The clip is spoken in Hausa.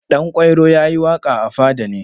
Ɗanƙwairo ya yi waƙa a fada ne.